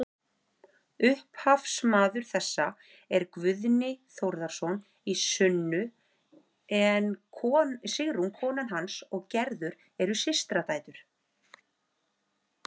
Upphafsmaður þessa er Guðni Þórðarson í Sunnu en Sigrún kona hans og Gerður eru systradætur.